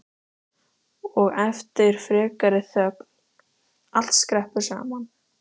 Og eftir frekari þögn: Allt skreppur saman